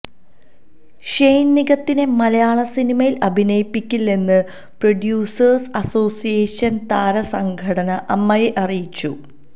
Shane നിഗത്തിനെ മലയാള സിനിമയിൽ അഭിനയിപ്പിക്കില്ലെന്ന് പ്രൊഡ്യുസേഴ്സ് അസോസിയേഷൻ താര സംഘടന അമ്മയെ അറിയിച്ചു